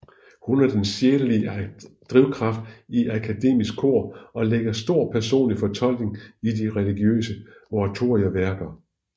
Hun er den sjælelige drivkraft i Akademisk Kor og lægger stor personlig fortolkning i de religiøse oratorieværker